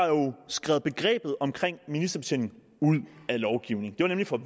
skrevet begrebet om ministerbetjening ud af lovgivningen det var nemlig for